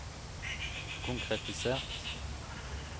konkretisert